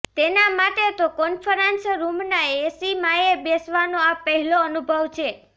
તેના માટે તો કોન્ફરન્સ રૂમના એસીમાંયે બેસવાનો આ પહેલો અનુભવ છે